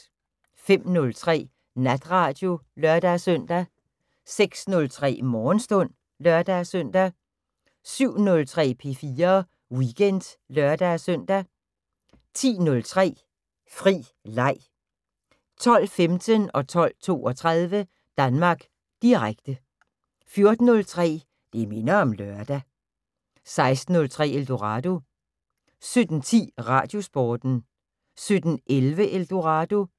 05:03: Natradio (lør-søn) 06:03: Morgenstund (lør-søn) 07:03: P4 Weekend (lør-søn) 10:03: Fri Leg 12:15: Danmark Direkte 12:32: Danmark Direkte 14:03: Det minder om lørdag 16:03: Eldorado 17:10: Radiosporten 17:11: Eldorado